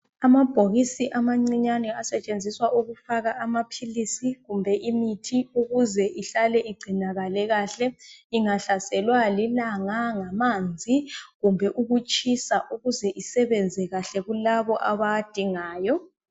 Amabhokisi amancinyane asetshenziswa ukufaka amaphilisi kumbe imithi ukuze ihlale igcinakale kahle ingahlaselwa lilanga, ngamanzi kumbe ukutshisa ukuze isebenze kahle kulabo abawadingayo.